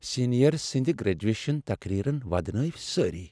Senior سندِ graduation تقریرن ودنٲوِ سٲری۔